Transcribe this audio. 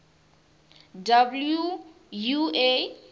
wua